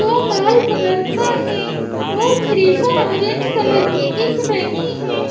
लाल colour का है और थ्रिशर ऑरेंज कलर की दिख रही हैं।